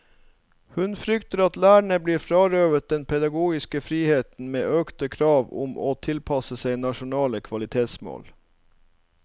Hun frykter at lærerne blir frarøvet den pedagogiske friheten med økte krav om å tilpasse seg nasjonale kvalitetsmål.